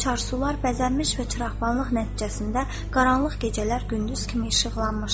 Çarsular bəzənmiş və çıraqvanlıq nəticəsində qaranlıq gecələr gündüz kimi işıqlanmışdı.